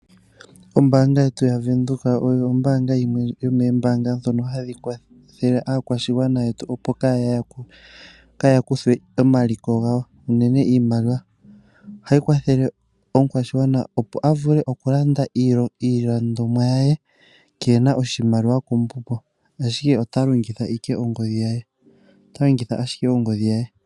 Ombanga yetu yaVenduka oyo yimwe yomoombanga hayi kwathele aakwashigwana yetu opo kaa yakuthwe omaliko gawo uunene iimaliwa. Ohayi kwathele omukwashigwana opo amulet okulanda iilandomwa yaye kena oshimaliwa konduko ashike otalongitha ashike ongodhi yaye.